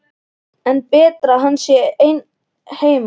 En er betra að hann sé einn heima?